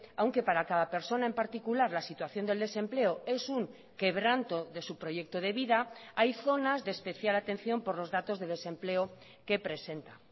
aunque para cada persona en particular la situación del desempleo es un quebranto de su proyecto de vida hay zonas de especial atención por los datos de desempleo que presenta